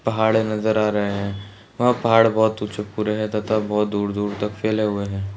पहाड़ नजर आ रहे हैं वहाँ पहाड़ बहोत तथा बहोत दूर दूर तक फैले हुए हैं।